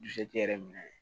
Dusu k'i yɛrɛ minɛ